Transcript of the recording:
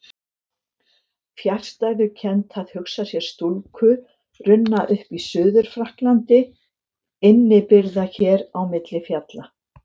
Fjarstæðukennt að hugsa sér stúlku runna upp í Suður-Frakklandi innibyrgða hér á milli fjalla.